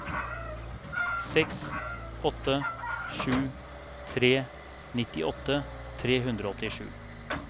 seks åtte sju tre nittiåtte tre hundre og åttisju